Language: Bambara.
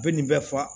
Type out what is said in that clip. U bɛ nin bɛɛ fa